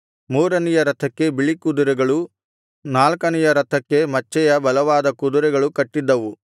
ಮೂರನೆಯ ರಥಕ್ಕೆ ಬಿಳಿ ಕುದುರೆಗಳು ನಾಲ್ಕನೆಯ ರಥಕ್ಕೆ ಮಚ್ಚೆ ಮಚ್ಚೆಯ ಬಲವಾದ ಕುದುರೆಗಳು ಕಟ್ಟಿದ್ದವು